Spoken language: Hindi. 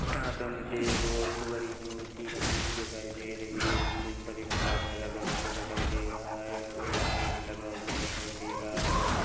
यहाँ पर मुझे बहुत बड़ी मूर्ति बनी हुई दिखाई दे रही है उसके ऊपर एक छाता लगा हुआ दिखाई दे रहा है एक बोर्ड लगा हुआ दिखाई दे रहा हैं व--